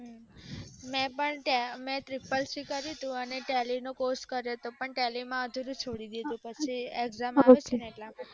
મેં પણ ccc કર્યું હતું tally નો tally કર્યો હતો tally માં અધૂરું છોડી દીધું exam આવે છે એના માટે